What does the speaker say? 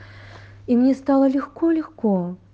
и мне стало легко легко